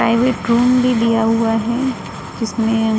Private room भी लिया हुआ है। जिसमे--